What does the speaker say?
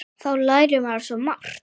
Þá lærir maður svo margt.